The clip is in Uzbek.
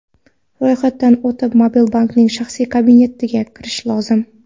Ro‘yxatdan o‘tib mobil bankning shaxsiy kabinetiga kirish lozim.